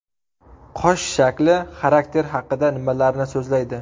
Qosh shakli xarakter haqida nimalarni so‘zlaydi?